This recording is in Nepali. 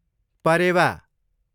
परेवा